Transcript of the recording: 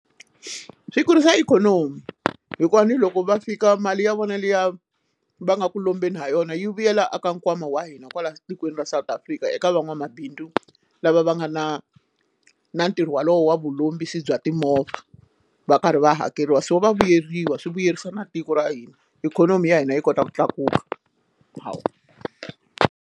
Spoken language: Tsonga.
Swi kurisa ikhonomi hikuva ani loko va fika mali ya vona liya va nga ku lombeni ha yona yi vuyela a ka nkwama wa hina kwala tikweni ra South Africa eka van'wamabindzu lava va nga na na na ntirho wolowo wa vulombisi bya timovha va karhi va hakeriwa so va vuyeriwa swi vuyerisa na tiko ra hina ikhonomi ya hina yi kota ku tlakuka hawu.